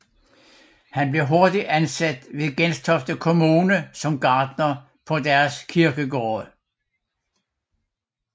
Han blev hurtigt ansat ved Gentofte kommune som gartner på deres kirkegårde